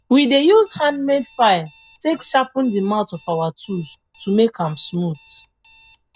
we dey use handmade file take sharpen the mouth of our tools to make am smaooth